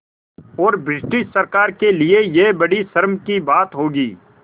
और ब्रिटिश सरकार के लिये यह बड़ी शर्म की बात होगी